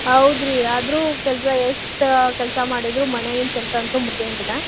ಹೌದ್ರಿ ಆದ್ರೂ ಕೆಲ್ಸಾ ಎಷ್ಟ್ ಕೆಲ್ಸಾ ಮಾಡಿದ್ರು ಮನ್ಯಾಗಿಂದ ಕೆಲ್ಸಾ ಅಂತೂ ಮುಗ್ಯಾಂಗಿಲ್ಲಾ.